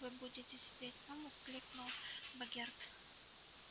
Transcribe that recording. вы будете сидеть там воскликнул богерт